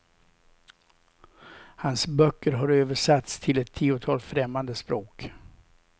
Hans böcker har översatts till ett tiotal främmande språk.